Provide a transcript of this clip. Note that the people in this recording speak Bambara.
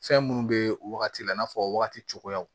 Fɛn minnu bɛ o wagati la i n'a fɔ wagati cogoyaw